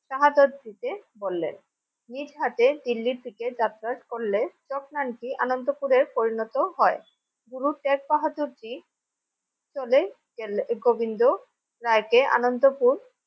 সাহাদর দিতে বললেন নিসহাটে দিল্লির দিকে যাতায়াত করলে জগনানকি আনন্দপুরে পরিণত হয় গুরু শেখ বাহাদুরজী চলে গেলে গোবিন্দ রায় কে আনন্দপুর ।